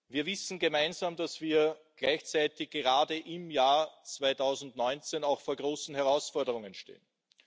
Wir wissen alle, dass wir gleichzeitig gerade im Jahr 2019 vor großen Herausforderungen stehen.